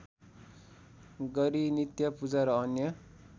गरी नित्यपूजा र अन्य